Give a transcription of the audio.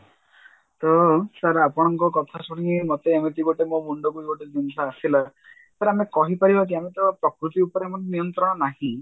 ତ sir ଆପଣଙ୍କ କଥା ଶୁଣିକି ମୋତେ ଏମିତି ଗୋଟେ ମୋ ମୁଣ୍ଡକୁ ବି ଗୋଟେ ଜିନିଷ ଆସିଲା sir କହିପାରିବା ଯେ ଆମେ ତ ପ୍ରକୃତି ଉପରେ ଆମର ନିୟନ୍ତ୍ରଣ ନାହିଁ